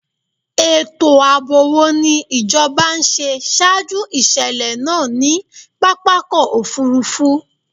Ètò ààbò wo ni ìjọba ń ṣe ṣaájú ìṣèlẹ̀ náà ní pápákọ̀-òfurufú?